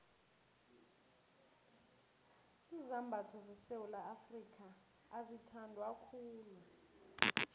izambatho sesewula afrika azithandwa khulu